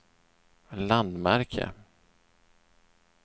landmärke